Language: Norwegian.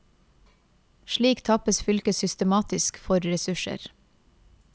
Slik tappes fylket systematisk for ressurser.